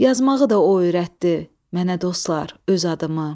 Yazmağı da o öyrətdi mənə dostlar öz adımı.